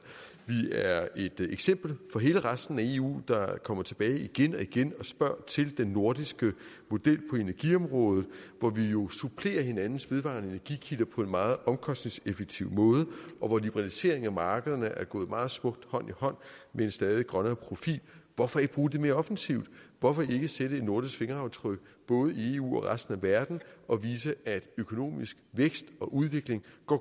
vi er et eksempel for hele resten af eu der kommer tilbage igen og igen og spørger til den nordiske model på energiområdet hvor vi jo supplerer hinandens vedvarende energikilder på en meget omkostningseffektiv måde og hvor liberaliseringen af markederne er gået meget smukt hånd i hånd med en stadig grønnere profil hvorfor ikke bruge det mere offensivt hvorfor ikke sætte et nordisk fingeraftryk både i eu og i resten af verden og vise at økonomisk vækst og udvikling